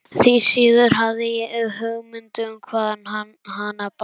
Því síður hafði ég hugmynd um hvaðan hana bar að.